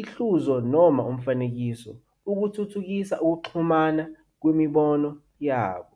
ihluzo noma umfanekiso - ukuthuthukisa ukuxhumana kwemibono yabo.